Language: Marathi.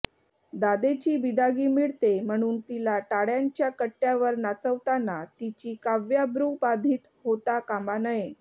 दादेची बिदागी मिळते म्हणून तिला टाळ्यांच्या कट्ट्यावर नाचवताना तिची काव्याब्रू बाधित होता कामा नये